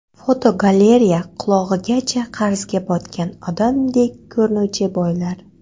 Fotogalereya: Qulog‘igacha qarzga botgan odamdek ko‘rinuvchi boylar.